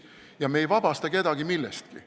Ja me ei vabasta kedagi millestki.